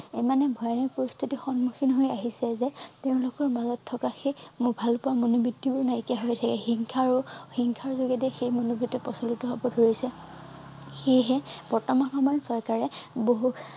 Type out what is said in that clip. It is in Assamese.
ইমানেই ভয়ানক পৰিস্থিতি সন্মুখীন হৈ আহিছে যে তেওঁৰ লোকৰ মাজত থকা সেই ভালপোৱা মনোবিত্তি বোৰ নাইকিয়া হৈ গৈছে হিংসা আৰু হিংসাৰ যোগে দিয়েই সেই সেই মনোবিত্ত প্ৰচলিত হব ধৰিছে সেইহে বৰ্তমান সময়ত চৰকাৰে বহু